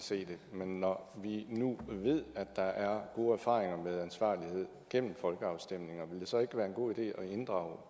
se det men når vi nu ved at der er gode erfaringer med ansvarlighed gennem folkeafstemninger ville det så ikke være en god idé at inddrage